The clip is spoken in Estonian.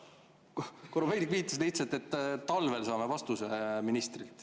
Korobeinik viitas lihtsalt, et talvel saame vastuse ministrilt.